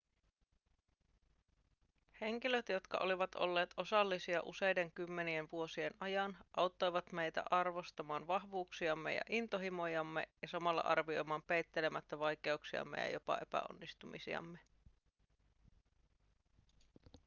henkilöt jotka olivat olleet osallisia useiden kymmenien vuosien ajan auttoivat meitä arvostamaan vahvuuksiamme ja intohimojamme ja samalla arvioimaan peittelemättä vaikeuksiamme ja jopa epäonnistumisiamme